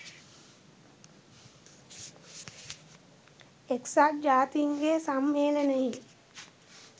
එක්සත් ජාතින්ගේ සම්මේලනයේ